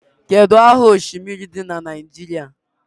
Kedu aha oshimiri dị na Naijiria?